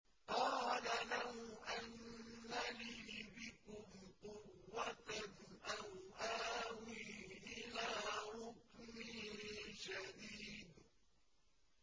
قَالَ لَوْ أَنَّ لِي بِكُمْ قُوَّةً أَوْ آوِي إِلَىٰ رُكْنٍ شَدِيدٍ